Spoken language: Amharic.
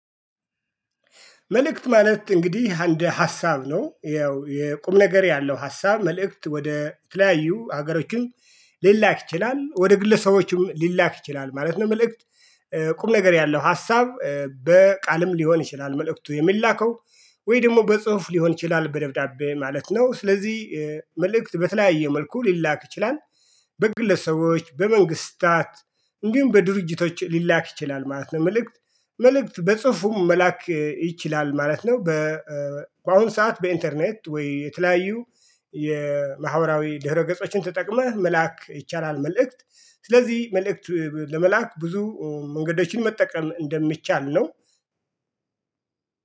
መልእክት ማለት እንግዲህ አንድ ሀሳብ ነው ያው የቁም ነገር ያለው ሀሳብ መልእክት ወደ ተለያዩ ሀገሮችን ሊላክ ይችላል ወደ ግለሰቦችም ሊላክ ይችላል ማለት ነው። መልእክት ነገር ያለው ሀሳብ በቃልም ሊሆን ይችላል። መልእክቱ የሚላከው ወይ ደግሞ በጽሁፍ ሊሆን ይችላል በደብዳቤ ማለት ነው። ስለዚህ መልእክት በተለያየ መልኩ ሊላክ ይችላል። በግለሰቦች በመንግስታት እንዲሁም በድርጅቶች ሊላክ ይችላል ማለት ነው። መልእክት መልእክት በጽፉም መላክ ይችላል ማለት ነው። በአሁኑ ሰዓት በኢንተርኔት ወይ የተለያዩ የማህበራዊ ድህረ ገጾችን ተጠቅመህ መላክ ይቻላል። መልእክት ስለዚህ መልእክት ለመላክ ብዙ መንገዶችን መጠቀም እንደሚቻል ነው።